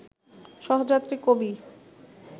সহযাত্রী কবি